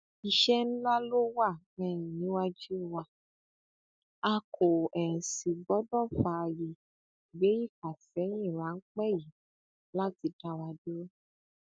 iṣẹ ńlá ló wà um níwájú wa a kò um sì gbọdọ fààyè gbé ìfàsẹyìn ráńpẹ yìí láti dá wa dúró